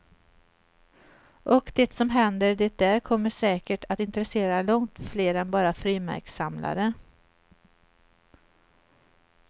Och det som händer det där kommer säkert att intressera långt fler än bara frimärkssamlare.